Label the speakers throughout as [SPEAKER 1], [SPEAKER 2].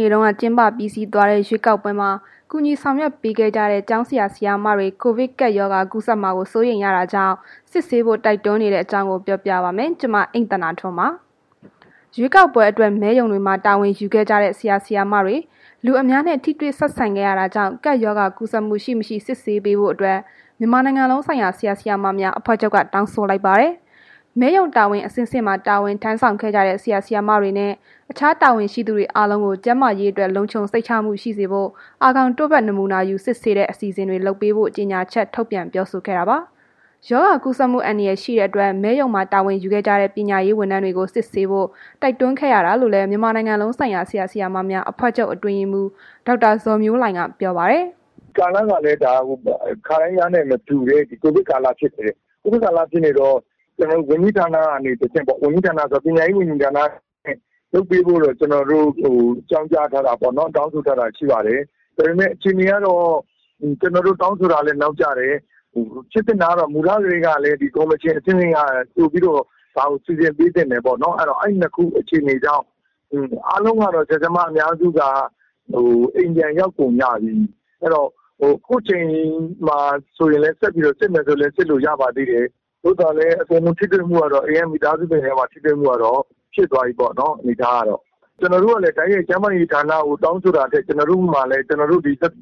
[SPEAKER 1] နေ့တုန်းက ကျင်းပပြီးစီးသွားတဲ့ ရွေးကောက်ပွဲမှာ ကူညီဆောင်ရွက် ပေးခဲ့ကြတဲ့ ကျောင်းဆရာ၊ ဆရာမတွေ ကိုဗစ်ကပ်ရောဂါ ကူးစက်မှာ စိုးရိမ်ရတာကြောင့် စစ်ဆေးဖို့ တိုက်တွန်းနေကြတဲ့အကြောင်း ပြောပြပါမယ်။ ဗွီအိုအေမြန်မာပိုင်း သတင်းထောက် မ အိမ့်သန္တာထွန်းပါ က သတင်းပေးပို့ထားပါတယ်။ ရွေးကောက်ပွဲအတွက် မဲရုံတွေမှာ တာဝန်ယူခဲ့ကြတဲ့ ဆရာ၊ ဆရာမတွေ လူအများနဲ့ ထိတွေ့ဆက်ဆံခဲ့ရတာကြောင့် ကပ်ရောဂါ ကူးစက်မှု ရှိမရှိစစ်ဆေးပေးဖို့အတွက် မြန်မာနိုင်ငံလုံးဆိုင်ရာ ဆရာ၊ ဆရာမများအဖွဲ့ချုပ်က တောင်းဆိုလိုက်ပါတယ်။ မဲရုံတာဝန် အဆင့်ဆင့်မှာ တာဝန်ထမ်းဆောင်ခဲ့ကြတဲ့ ဆရာ၊ ဆရာမတွေနဲ့ အခြားတာဝန်ရှိသူတွေ အားလုံးကို ကျန်းမာရေးအတွက် လုံခြုံစိတ်ချမှုရှိစေဖို့ အာခေါင်တို့ဖတ်နမူနာယူစစ်ဆေးတဲ့ အစီအစဉ်တွေလုပ်ပေးဖို့ ကြေညာချက်ထုတ်ပြန်ပြောဆိုခဲ့တာပါ။ ရောဂါကူးစက်မှု အန္တရာယ် ရှိတဲ့အတွက် မဲရုံမှာတာဝန်ယူခဲ့ကြတဲ့ ပညာရေးဝန်ထမ်းတွေကို စစ်ဆေးဖို့ တိုက်တွန်းခဲ့ရတာလို့လည်း မြန်မာနိုင်ငံလုံးဆိုင်ရာ ဆရာ၊ ဆရာမများ အဖွဲ့ချုပ် အတွင်းရေးမှူး ဒေါက်တာ ဇော်မျိုးလှိုင်က ပြောပါတယ်။
[SPEAKER 2] “ကာလကလည်း ဒါ ခါတိုင်းကနဲ့ မတူတဲ့ ကိုဗစ်ကာလ ဖြစ်တယ်။ ကိုဗစ်ကာလ ဖြစ်နေတော့ ကျွန်တော်တို့ ဝန်ကြီးဌာနကနေ တစ်ဆင့်၊ ပညာရေးဝန်ကြီးဌာနပေါ့၊ လုပ်ပေးဖို့တော့ ကျွန်တော်တို့ အကြောင်းကြားထားတာတော့ ရှိပါတယ်။ ဒါပေမယ့် အခြေအနေကတော့ ကျွန်တော်တို့ တောင်းဆို တာကလည်း နောက်ကျတယ်။ ဖြစ်သင့်တာကတော့ အစကတည်းက ကော်မရှင် အဆင့်ဆင့် ကလည်း ကြိုပြီးတော့ ဒါကို စီစဉ်ပေးသင့်တယ်ပေါ့နှော်။ အဲ့တော့ အဲဒီအခြေအနေကြောင့်၊ အားလုံးကတော့ ဆရာ ဆရာမ အများစုက အိမ်ပြန်ရောက်ကုန်ကြပြီ။ ခုချိန်မှာ စစ်မယ်ဆိုရင်လည်း စစ်လို့ရပါ သေး တယ်။ သို့သော်လည်း ထိတွေ့မှုကတော့ အိမ်က မိသားစုတွေနဲ့ ထိတွေ့မှုကတော့ ဖြစ်သွားပြီပေါ့နှော်၊ အနေအထားကတော့။ ကျွန်တော်တို့ကလည်း တိုက်ရိုက် ကျန်းမာရေးဌာနကိုတောင်းဆိုတာထက် ကျွန်တော်တို့ကလည်း ကျွန်တော်တို့ ဆက်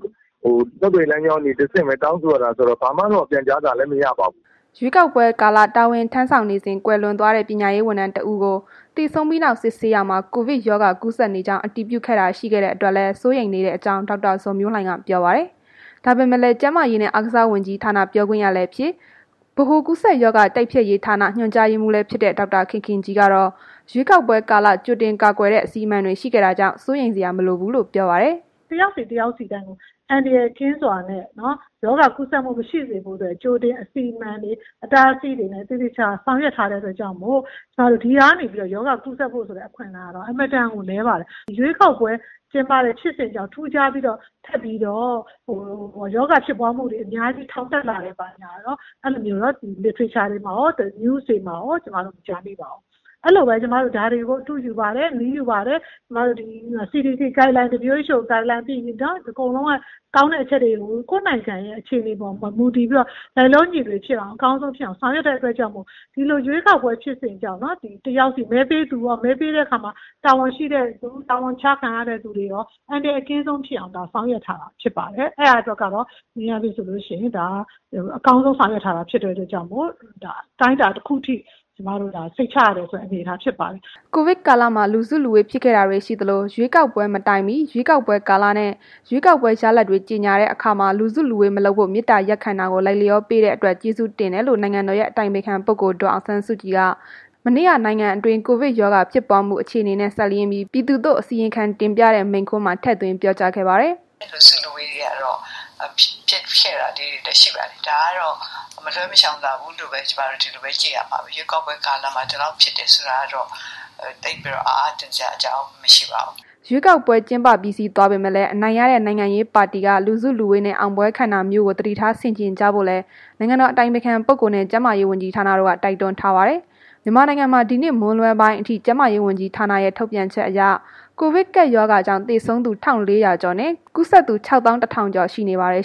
[SPEAKER 2] သွယ်ရေး လမ်းကြောင်းကနေ တစ်ဆင့်ပဲ တောင်းဆိုရတာ ဆိုတော့ ဘာမှတော့ ပြန်ကြားစာလည်း မရပါဘူး
[SPEAKER 1] ။” ရွေးကောက်ပွဲကာလ တာဝန်ထမ်းဆောင်နေစဉ် ကွယ်လွန်သွားခဲ့တဲ့ ပညာရေးဝန်ထမ်းတစ်ဦးကို သေဆုံးပြီးနောက် စစ်ဆေးရာမှာ ကိုဗစ်ရောဂါ ကူးစက်နေကြောင်း အတည်ပြုခဲ့တာ ရှိခဲ့တဲ့ အတွက်လည်း စိုးရိမ်နေတဲ့အကြောင်း ဒေါက်တာ ဇော်မျိုးလှိုင်က ပြောပါတယ်။ ဒါပေမဲ့လည်း ကျန်းမာရေးနဲ့ အားကစားဝန်ကြီးဌာန ပြောခွင့်ရလည်းဖြစ်၊ ဗဟိုကူးစက်ရောဂါ တိုက်ဖျက်ရေးဌာန ညွှန်ကြားရေးမှူးလည်းဖြစ်တဲ့ ဒေါက်တခင်ခင်ကြီးကတော့ ရွေးကောက်ပွဲကာလ ကြိုတင်ကာကွယ်တဲ့ အစီအမံတွေ ရှိခဲ့တာကြောင့် စိုးရိမ်စရာ မလိုကြောင်း ပြောပါတယ်။
[SPEAKER 3] “တစ်ယောက်စီ တစ်ယောက်စီတိုင်းကို အန္တရာယ်ကင်းစွာနဲ့ မဲပေးနိုင်ဖို့ ရောဂါကူးစက်မှု မရှိစေဖို့အတွက် ကြိုတင် အစီအမံတွေ အတားအဆီးတွေနဲ့ ကြိုတင် ဆောင်ရွက်ထားတဲ့ အတွက်ကြောင့်မို့ ဒီဟာက နေပြီးတော့ ရောဂါကူးစက်ဖို့ ဆိုတဲ့ အခွင့်အလမ်းကတော့ အရမ်းကို နည်းပါတယ်။ ရွေးကောက်ပွဲကျင်းပတဲ့ ဖြစ်စဉ်ကြောင့် ထူးခြားပြီးတော့ ထပ်ပြီးတော့ ရောဂါဖြစ်ပွားမှုတွေ ထောင်တက်လာတယ် ဘာညာကတော့ နိုင်ငံတကာ အနေနဲ့လည်း မကြားမိပါဘူး။ အဲ့လိုပဲ ကျွန်မတို့ ဒါတွေကို အတုယူပါတယ်။ နည်းယူပါတယ်၊ CDC Guideline၊ WHO Guideline အကုန်လုံးက ကောင်းတဲ့ အချက်တွေကို ကိုယ်နိုင်ငံရဲ့ အခြေအနေတွေအပေါ် မူတည်ပြီးတော့ လိုက်လျောညီထွေဖြစ်အောင် အကောင်းဆုံးဖြစ်အောင် ဆောင်ရွက်တဲ့ အတွက်ကြောင့်မို့ ဒီလို ရွေးကောက်ပွဲ ဖြစ်စဉ်ကြောင့် မဲပေးသူရော မဲရုံမှာ တာဝန်ကျနေတဲ့ သူတွေရော အန္တရာယ်အကင်းဆုံးဖြစ်အောင် ဆောင်ရွက်ထားတာဖြစ်ပါတယ်။ ဒါကတော့ အကောင်းဆုံးဖြစ်အောင်
[SPEAKER 1] ဆောင်ရွက်ထားတဲ့ အတွက်ကြောင့်မို့ အတိုင်းအတာတစ်ခုထိ စိတ်ချရတယ်ဆိုတဲ့ အနေအထားမျိုးဖြစ်ပါတယ်။” ကိုဗစ်ကာလမှာ လူစုလူဝေးဖြစ်ခဲ့တာတွေရှိသလို ရွေးကောက်ပွဲ မတိုင်မီ၊ ရွေးကောက်ပွဲကာလနဲ့ ရွေးကောက်ပွဲရလဒ်တွေ ကြေညာတဲ့ အခါမှာ လူစုလူဝေးမလုပ်ဖို့ မေတ္ထာရပ်ခံခဲ့တာကို လိုက်လျောပေးတဲ့ အတွက် ကျေးဇူးတင်ကြောင်း နိုင်ငံတော်ရဲ့ အတိုင်ပင်ခံ ပုဂ္ဂိုလ် ဒေါ်အောင်ဆန်းစုကြည်က မနေ့က နိုင်ငံအတွင်းကိုဗစ် ရောဂါဖြစ်ပွားမှု အခြေအနေနဲ့ စပ်လျဉ်းပြီး ပြည်သူသို့ အစီရင်ခံတင်ပြတဲ့ မိန့်ခွန်းမှာ ထည့်သွင်းပြောကြားခဲ့ပါတယ်။
[SPEAKER 3] “လူစုလူဝေးကတော့ ဖြစ်ခဲ့တာလေးတွေလည်းရှိပါတယ်။ ဒါကတော့ မလွဲမရှောင်သာဘူးလို့ ကျွန်မတို့ ဒီလိုပဲ ကြည့်ရမှာပဲ။ ရွေးကောက်ပွဲ ကာလမှာ ဒီလောက်ဖြစ်တယ်ဆိုတာကတော့ သိပ်ပြီးတော့ အံ့အားသင့်စရာ အကြောင်းမရှိပါဘူး
[SPEAKER 1] ။” ရွေးကောက်ပွဲ ကျင်းပပြီးစီးသွားပေမဲ့လည်း အနိုင်ရတဲ့ နိုင်ငံရေးပါတီက လူစုလူဝေးနဲ့ အောင်ပွဲခံတာမျိုးတွေကို သတိထားဆင်ခြင်ကြဖို့လည်း နိုင်ငံတော် အတိုင်ပင်ခံနဲ့ ကျန်းမာရေးဝန်ကြီးဌာနတို့က တိုက်တွန်းထားပါတယ်။ မြန်မာနိုင်ငံမှာ အင်္ဂါနေ့ မွန်းလွဲပိုင်းအထိ ကျန်းမာရေးဝန်ကြီးဌာနရဲ့ ထုတ်ပြန်ချက်အရ ကိုဗစ်ကပ်ရောဂါကြောင့် သေဆုံးသူ ၁၄၀၀ ကျော်၊ ကူးစက်သူ ၆ သောင်း ၁ ထောင်ကျော် ရှိနေပါတယ်။